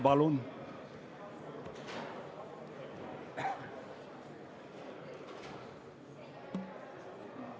Palun!